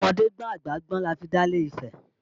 Ọmọdé gbọ́n àgbà gbọ́n la fi dálẹ̀ ifẹ̀